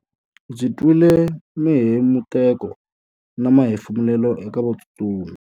Ndzi twile mihemuteko na mahefumulelo eka vatsutsumi.